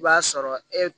I b'a sɔrɔ e